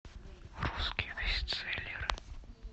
русские бестселлеры